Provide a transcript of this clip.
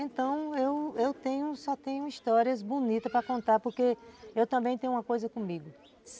Então eu eu só tenho histórias bonitas para contar, porque eu também tenho uma coisa comigo.